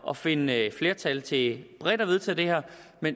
at finde et flertal til bredt at vedtage det her